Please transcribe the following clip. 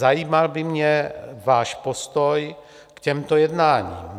Zajímal by mě váš postoj k těmto jednáním.